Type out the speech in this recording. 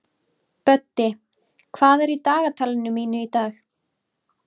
Böddi, hvað er í dagatalinu mínu í dag?